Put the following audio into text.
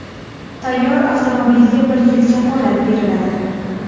Tayyor avtomobilga bir yil kafolat beriladi.